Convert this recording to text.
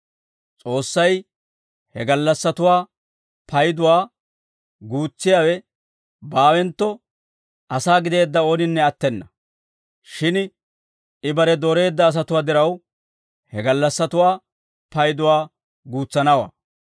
S'oossay he gallassatuwaa payduwaa guutsiyaawe baawentto, asaa gideedda ooninne attena; shin I bare dooreedda asatuwaa diraw, he gallassatuwaa payduwaa guutsanawaa.